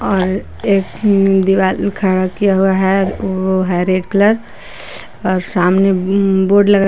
और एक दीवार खड़ा किया हुआ है वो है रेड कलर और सामने उम्म बोर्ड लगा--